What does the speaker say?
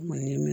Ni mɛn